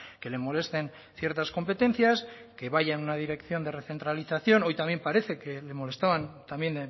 que le molesten ciertas competencias que vaya en una dirección de recentralización hoy también parece que le molestaban también